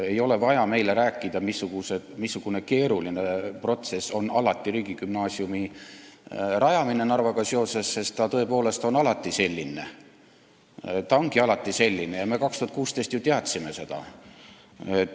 Ei ole vaja meile Narvaga seoses rääkida, missugune keeruline protsess riigigümnaasiumi rajamine alati on, sest ta tõepoolest on alati selline ja me 2016 ju teadsime seda.